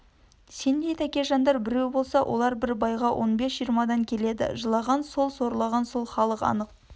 сендей тәкежандар біреу болса олар бір байға он бес-жиырмадан келеді жылаған сол сорлаған сол халық анық